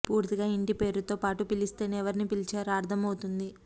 పూర్తిగా ఇంటి పేరుతో పాటు పిలిస్తేనే ఎవరిని పిలిచారో అర్ధం అవుతుంది